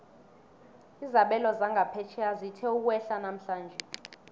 izabelo zangaphetjheya zithe ukwehla namhlanje